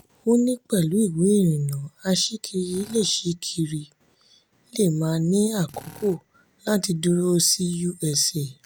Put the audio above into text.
ó ní pẹ̀lú ìwé ìrìnnà aṣíkiri lè aṣíkiri lè má ní àkókò láti dúró sí usa.